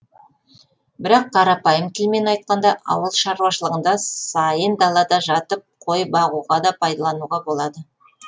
бірақ қарапайым тілмен айтқанда ауыл шаруашылығында сайын далада жатып қой бағуға да пайдалануға болады